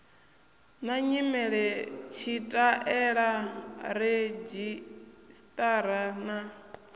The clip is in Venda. na nyimele tshitaela redzhisṱara na